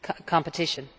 Competition